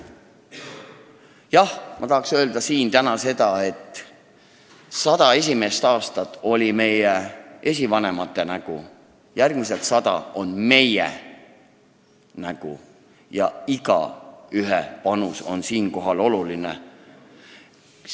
Jah, ma tahaks öelda, et sada esimest aastat on olnud meie esivanemate nägu ja järgmised sada aastat on meie nägu ning igaühe panus on seepärast oluline.